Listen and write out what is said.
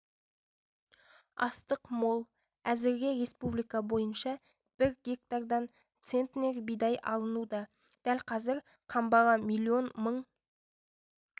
астық мол әзірге республика бойынша бір гектардан центнер бидай алынуда дәл қазір қамбаға млн мың